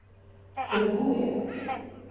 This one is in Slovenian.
Trguje.